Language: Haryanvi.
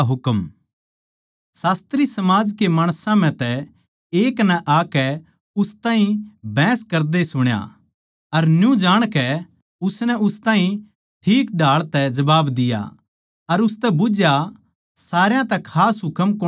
शास्त्री समाज के माणसां म्ह तै एक नै आकै उन ताहीं बहस करदे सुण्या अर न्यू जाणकै उसनै उन ताहीं ठीक ढाळ तै जबाब दिया अर उसतै बुझ्झया सारया तै खास हुकम कौणसा सै